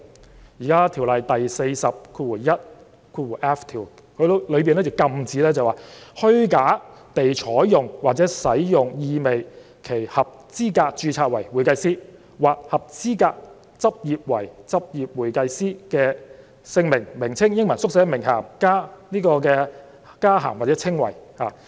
《專業會計師條例》第 421f 條禁止任何人"虛假地採用或使用意味其合資格註冊為會計師或合資格執業為執業會計師的姓名或名稱、英文縮寫、名銜、加銜或稱謂"。